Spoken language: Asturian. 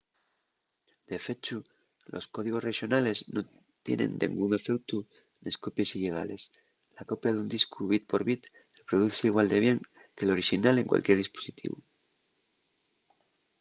de fechu los códigos rexonales nun tienen dengún efeutu nes copies illegales la copia d'un discu bit por bit reproduzse igual de bien que l'orixinal en cualquier dispositivu